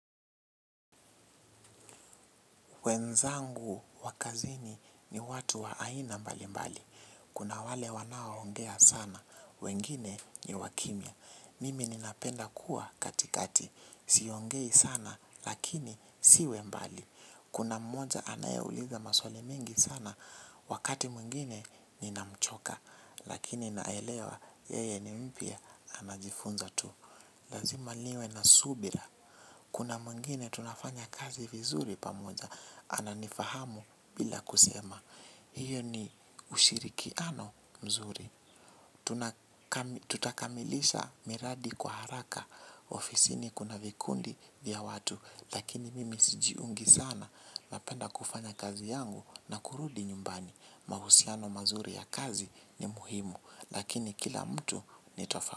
Wenzangu wa kazini ni watu wa aina mbali mbali. Kuna wale wanao ongea sana, wengine ni wakimya. Mimi ninapenda kuwa katikati. Siongei sana lakini siwe mbali. Kuna mmoja anaeuliza maswali mingi sana, wakati mwingine ninamchoka. Lakini naelewa yeye ni mpya anajifunza tu. Lazima liwe na subira. Kuna mwingine tunafanya kazi vizuri pamoja. Ana nifahamu bila kusema. Hiyo ni ushirikiano mzuri. Tutakamilisha miradi kwa haraka. Ofisini kuna vikundi vya watu. Lakini mimi sijiungi sana. Napenda kufanya kazi yangu. Na kurudi nyumbani. Mahusiano mazuri ya kazi ni muhimu. Lakini kila mtu ni tofa.